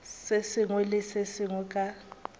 sengwe le se sengwe ka